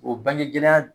O bangegɛgɛlɛya